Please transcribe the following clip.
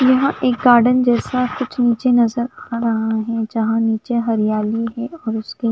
यहाँ एक गार्डन जैसा कुछ नीचे नज़र आरहा है जहा नीचे हरयाली है और उसके--